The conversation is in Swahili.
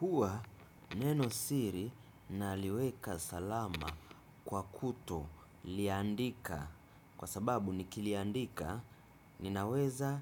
Huwa neno siri naliweka salama kwa kutoliandika kwa sababu nikiliandika ninaweza